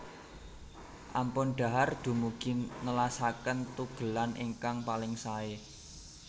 Ampun dhahar dumugi nelasaken tugelan ingkang paling saé